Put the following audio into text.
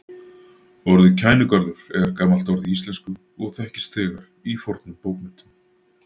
Orðið Kænugarður er gamalt orð í íslensku og þekkist þegar í fornum bókmenntum.